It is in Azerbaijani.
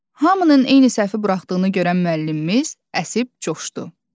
Hamının eyni səhvi buraxdığını görən müəllimimiz əsib coşdu.